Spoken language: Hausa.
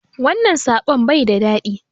Wannan soɓon baida daɗi